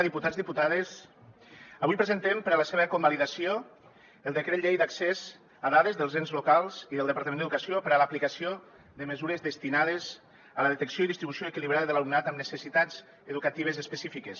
diputats diputades avui presentem per a la seva convalidació el decret llei d’accés a dades dels ens locals i del departament d’educació per a l’aplicació de mesures destinades a la detecció i distribució equilibrada de l’alumnat amb necessitats educatives específiques